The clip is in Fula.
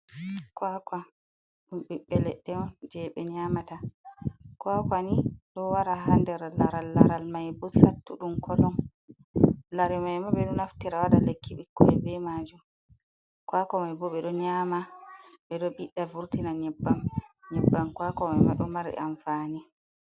Kwakwa ɗum ɓiɓɓe leɗɗe on jey ɓe nyaamata. Kwakwa ni, ɗo wara haa nder laral, laral mai boo cattuɗum kolon. Lare mai maa ɓe do naftira waɗa lekki ɓikkoy bee maajum, kwakwa mai boo ɓe ɗo nyaama ɓe ɗo ɓiɗɗa vurtina nyebbam. Kwakwa mai ma ɗo mari amfani.